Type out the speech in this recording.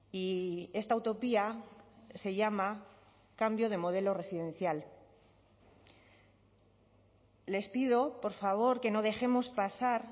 y esta utopía se llama cambio de modelo residencial les pido por favor que no dejemos pasar